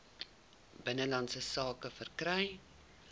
binnelandse sake verkry